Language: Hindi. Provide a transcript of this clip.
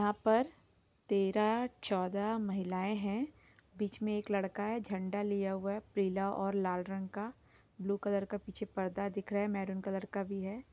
यहाँ पर तेरह चौदह महिलाएं है बीच मे एक लड़का हैझंडा लिया हुआ है पीला और लाल रंग का ब्लू रंग का पीछे पर्दा दिख रहा है महरून कलर का भी है।